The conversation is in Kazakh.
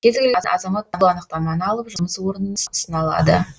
кез келген азамат бұл анықтаманы алып жұмыс орнына ұсына алады